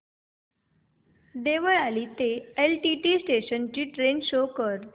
देवळाली ते LTT station ची train show कर